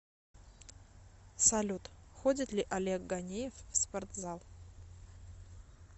салют ходит ли олег ганеев в спортзал